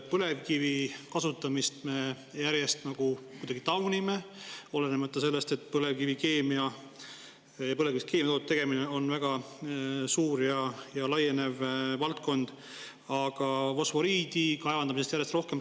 Põlevkivi kasutamist me kuidagi taunime, olenemata sellest, et põlevkivist keemiatoodete tegemine on väga suur ja laienev valdkond, aga fosforiidi kaevandamisest räägitakse järjest rohkem.